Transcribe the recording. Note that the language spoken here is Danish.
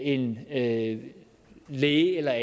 en læge læge eller